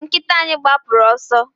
nkita anyi gbapụru ọsọ